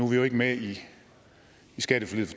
vi jo ikke med i skatteforliget